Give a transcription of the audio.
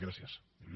gràcies il